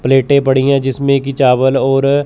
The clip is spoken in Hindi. प्लेटे पड़ी हैं जिसमें की चावल और--